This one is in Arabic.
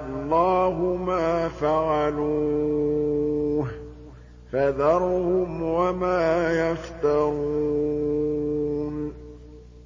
اللَّهُ مَا فَعَلُوهُ ۖ فَذَرْهُمْ وَمَا يَفْتَرُونَ